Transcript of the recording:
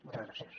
moltes gràcies